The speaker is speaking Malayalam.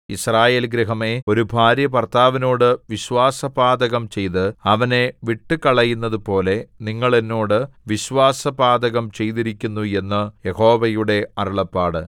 യിസ്രായേൽ ഗൃഹമേ ഒരു ഭാര്യ ഭർത്താവിനോടു വിശ്വാസപാതകം ചെയ്ത് അവനെ വിട്ടുകളയുന്നതുപോലെ നിങ്ങൾ എന്നോട് വിശ്വാസപാതകം ചെയ്തിരിക്കുന്നു എന്ന് യഹോവയുടെ അരുളപ്പാട്